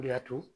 O de y'a to